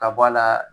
Ka bɔ a la